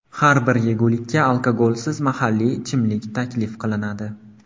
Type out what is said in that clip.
Har bir yegulikka alkogolsiz mahalliy ichimlik taklif qilinadi.